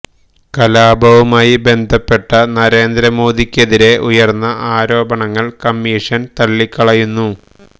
കലാപവുമായി ബന്ധപ്പെട്ട നരേന്ദ്ര മോദിക്കെതിരെ ഉയര്ന്ന ആരോപണങ്ങള് കമ്മീഷന് തള്ളികളയുന്നു